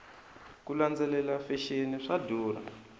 ku landzelela fexeni swa durha